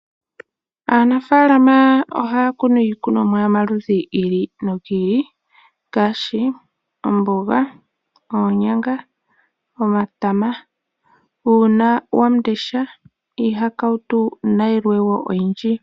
Aanafalama ohaya kunu iikunomwa yomaludhi gi ili nogi ili, ngaashi omboga, oonyanga, omatama, uuna wamundesha, iihakautu, nayilwe wo oyindji.